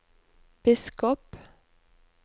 biskop